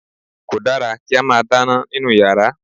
Kò dára kí a máa dáná nínú yàrá